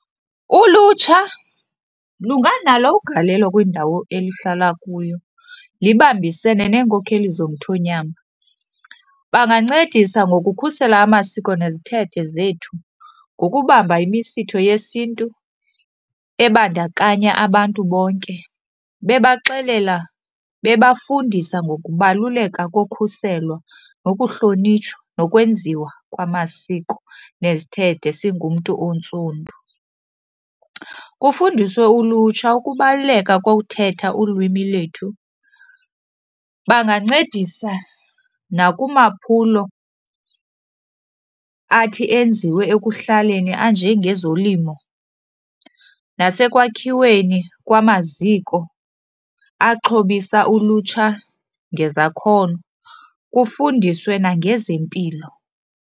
Ulutsha lunganalo ugalelo kwindawo eluhlala kuyo libambisene neenkokheli zomthonyama. Bangancedisa ngokukhusela amasiko nezithethe zethu ngokubamba imisitho yesintu ebandakanya abantu bonke bebaxelela, bebafundisa ngokubaluleka kokhuselwa nokuhlonitshwa nokwenziwa kwamasiko nezithethe singumntu ontsundu. Kufundiswe ulutsha ukubaluleka kokuthetha ulwimi lwethu. Bangancedisa nakumaphulo athi enziwe ekuhlaleni anjengezolimo nasekwakhiweni kwamaziko axhobisa ulutsha ngezakhono kufundiswe nangezempilo.